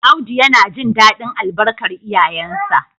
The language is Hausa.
Audu yana jin dadin albarkar iyayensa